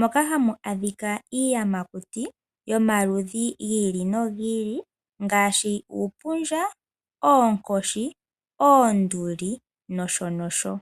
moka hamu adhika iiyamakuti yomaludhi giili no giili uumpundja, oonkoshi , oonduli nosho tuu.